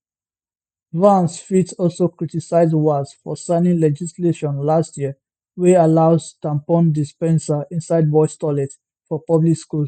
vance fit also criticise walz for signing legislation last year wey allows tampon dispensers inside boys toilets for public schools